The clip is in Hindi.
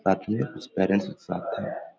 रात में कुछ पैरेंट्स के साथ थे।